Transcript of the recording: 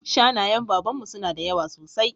Shanayen Baban mu suna da yawa sosai